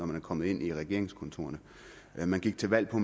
man er kommet ind i regeringskontorerne man gik til valg på